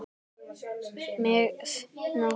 Mið nótt!